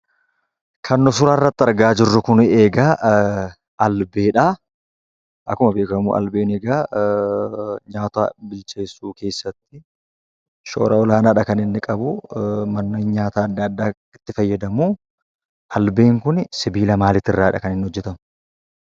Kan nuti suuraa irratti argaa jirru kun egaa albeedha. Akkuma beekamu albeen egaa nyaata bilcheessuu keessatti shoora olaanaadha kan inni qabu. Manneen nyaataa adda addaa itti fayyadamu. Albeen kun sibiila maalii irraati kan inni hojjetamu?